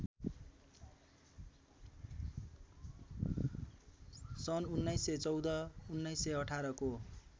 सन् १९१४ १९१८ को